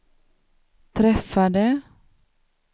träffade